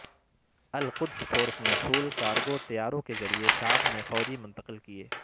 القدس فورس نے civil cargo طیاروں کے ذریعے شام میں فوجی منتقل کئے